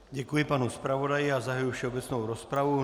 Děkuji panu zpravodaji a zahajuji všeobecnou rozpravu.